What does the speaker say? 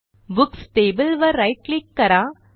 books table वर right click करा